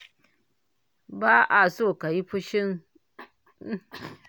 Ba a so kayi fashin motsa jiki saboda yana kawo ciwon jiki